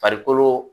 Farikolo